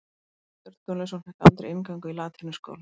Björn Gunnlaugsson fékk aldrei inngöngu í latínuskóla.